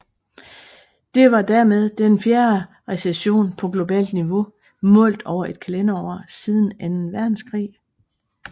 Det var dermed den fjerde recession på globalt niveau målt over et kalenderår siden anden verdenskrig